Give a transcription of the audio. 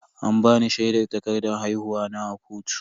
An bani shaidar takardan haihuwa na a kotu.